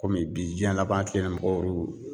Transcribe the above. Kɔmi bi diɲɛ laban tile in na mɔgɔw